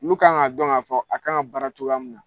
Lu kan ŋ'a dɔn k'a fɔ a kan ka baara cogoya min na.